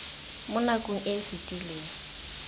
mo nakong e e fetileng